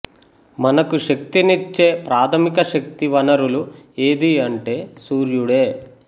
మనకు శక్తినిచ్చే ప్రాథమిక శక్తి వనరులు ఏదీ అంటే సూర్యుడే